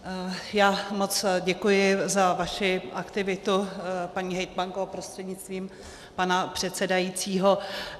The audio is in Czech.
Já moc děkuji za vaši aktivitu, paní hejtmanko, prostřednictvím pana předsedajícího.